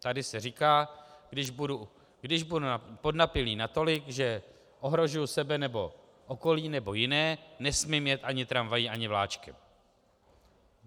Tady se říká, když budu podnapilý natolik, že ohrožuji sebe nebo okolí nebo jiné, nesmím jet ani tramvají, ani vláčkem.